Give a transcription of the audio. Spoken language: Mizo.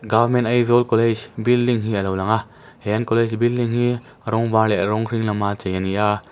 government aizawl college building a lo lang a he an college building hi rawng var leh rawng hring lama chei a ni a.